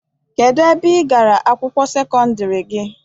Kedụ ebe igara akwụkwọ sekọndiri gị?